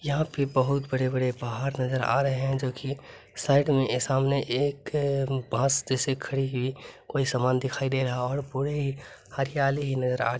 यहां पे बहुत बड़े-बड़े पहाड़ नजर आ रहे हैं जो की साइड में ए सामने एक बांस जैसे खड़ी हुई कोई सामान दिखाई दे रहा हो और पूरे ही हरियाली ही नजर --